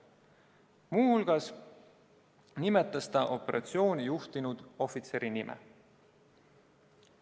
Muu hulgas nimetas ta operatsiooni juhtinud ohvitseri nime.